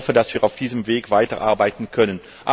Ich hoffe, dass wir auf diesem Weg weiterarbeiten können.